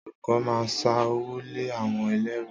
Àwon ọ̀lokọ̀ ma ń sà òwó lẹ àwon ẹlẹru